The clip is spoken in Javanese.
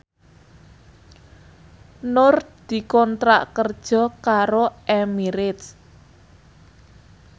Nur dikontrak kerja karo Emirates